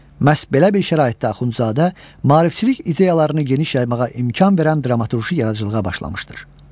Məhz belə bir şəraitdə Axundzadə maarifçilik ideyalarını geniş yaymağa imkan verən dramaturji yaradıcılığa başlamışdır.